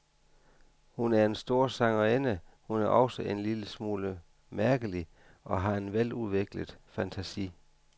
Hun er en stor sangerinde, hun er også en lille smule mærkelig og har en veludviklet fantasi.